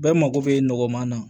Bɛɛ mago bɛ nɔgɔma na